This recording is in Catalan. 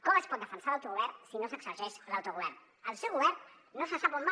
com es pot defensar l’autogovern si no s’exerceix l’autogovern el seu govern no se sap on va